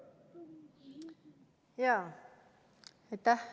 Aitäh!